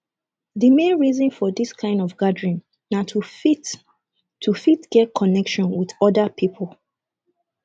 di main reason for dis kind of gathering na to fit to fit get connection with oda pipo